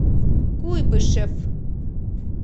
куйбышев